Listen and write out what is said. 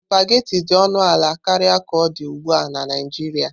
Supagetii dị ọnụ ala karịa ka ọ dị ugbu a na Naijiria.